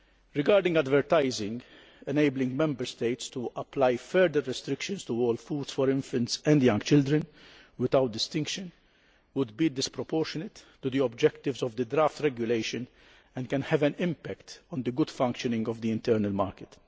Regarding advertising, enabling Member States to apply further restrictions to all foods for infants and young children, without distinction, would be disproportionate to the objectives of the draft regulation and can have an impact on the good functioning of the internal market.